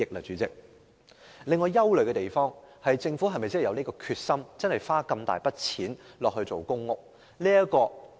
主席，我憂慮的是政府有否決心花一大筆金錢興建公屋呢？